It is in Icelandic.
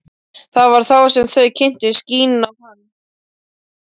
Það var þá sem þau kynntust, Gína og hann.